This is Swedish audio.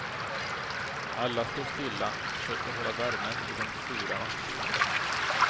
Alla står stilla och försöker hålla värmen i den sura nattkylan.